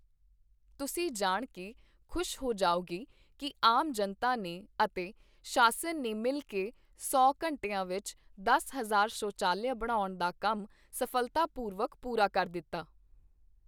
ਤੁਸੀਂ ਜਾਣ ਕੇ ਖੁਸ਼ ਹੋ ਜਾਓਗੇ ਕੀ ਆਮ ਜਨਤਾ ਨੇ ਅਤੇ ਸ਼ਾਸਨ ਨੇ ਮਿਲ ਕੇ ਸੌ ਘੰਟਿਆਂ ਵਿੱਚ ਦਸ ਹਜ਼ਾਰ ਸ਼ੌਚਾਲਿਆ ਬਣਾਉਣ ਦਾ ਕੰਮ ਸਫ਼ਲਤਾਪੂਰਵਕ ਪੂਰਾ ਕਰ ਦਿੱਤਾ।